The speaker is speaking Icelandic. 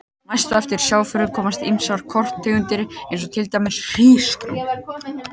Næst á eftir sjávarafurðum koma ýmsar korntegundir eins og til dæmis hrísgrjón.